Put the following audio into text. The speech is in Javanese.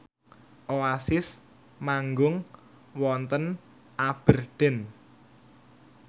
Oasis manggung wonten Aberdeen